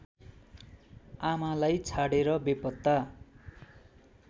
आमालाई छाडेर बेपत्ता